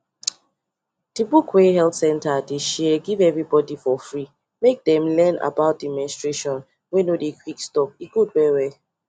the book wey health center dey share give everybody for free make them learn about the menstration wey no dey quick stop e good well well